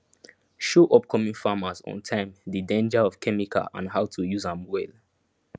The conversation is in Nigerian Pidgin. show upcoming farmers ontime the danger of chemical and how to use am well